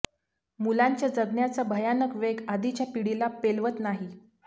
मुलांच्या जगण्याचा भयानक वेग आधीच्या पिढीला पेलवत नाही